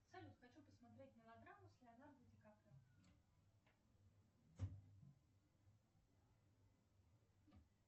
салют хочу посмотреть мелодраму с леонардо ди каприо